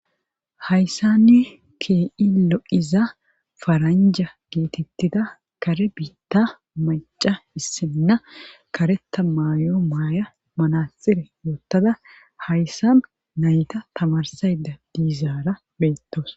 Hayssanni ke'i lo'iza faranja geetettida kare biitta macca issinna kareta mayo mayadda manaxire woottada hayssa nayta tamarsayda diizaara beettawus.